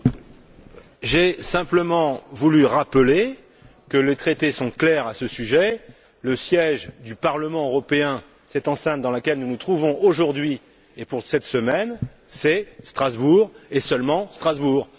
Monsieur le Président, j'ai simplement voulu rappeler que les traités sont clairs à ce sujet le siège du Parlement européen, cette enceinte dans laquelle nous nous trouvons aujourd'hui et pour cette semaine, c'est Strasbourg et seulement Strasbourg.